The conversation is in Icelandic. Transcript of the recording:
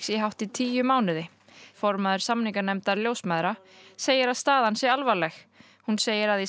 í hátt í tíu mánuði formaður samninganefndar ljósmæðra segir að staðan sé alvarleg hún segir að í